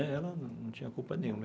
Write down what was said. Ela não tinha culpa nenhuma.